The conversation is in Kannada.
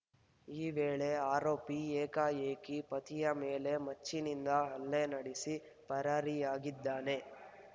ಈ ವೇಳೆ ಆರೋಪಿ ಏಕಾಏಕಿ ಪತಿಯ ಮೇಲೆ ಮಚ್ಚಿನಿಂದ ಹಲ್ಲೆ ನಡೆಸಿ ಪರಾರಿಯಾಗಿದ್ದಾನೆ